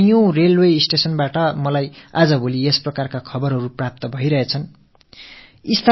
பாரதத்தின் பல ரயில் நிலையங்கள் தொடர்பான இப்படிப்பட்ட தகவல்கள் எனக்கு இப்போது வந்த வண்ணம் இருக்கின்றன